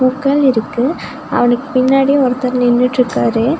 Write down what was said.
பூக்கள் இருக்கு அவனுக்கு பின்னாடி ஒருத்தர் நின்னுட்டுருக்காரு.